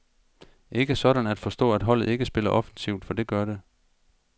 Ikke sådan at forstå, at holdet ikke spiller offensivt, for det gør det.